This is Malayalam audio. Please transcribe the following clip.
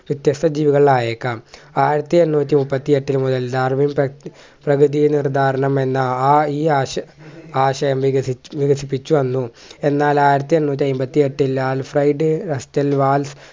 വ്യത്യസ്‌ത ജീവികളായേക്കാം ആയിരത്തി എണ്ണൂറ്റി മുപ്പത്തി എട്ടിൽ മുതൽ ലാർവിൻ പ പ്രകൃതിയിൽ നിർദ്ധാരണം എന്ന ആ ഈ ആശ ആശയം വികസിച്ചു വികസിപ്പിച്ചുവന്നു എന്നാൽ ആയിരത്തി എണ്ണൂറ്റി അയ്മ്പത്തി എട്ടിൽ